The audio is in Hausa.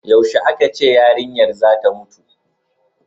yaushe a ka ce yarinyar zata mutu